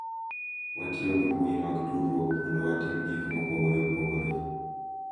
Watiyo gi mbui mag tudruok mondo watim gik mopogore opogore.